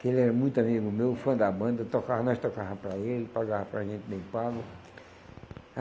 Que ele era muito amigo meu, fã da banda, tocava, nós tocava para ele, pagava para a gente bem pago.